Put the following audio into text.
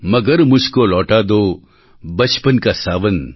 મગર મુઝકો લોટા દો બચપન કા સાવન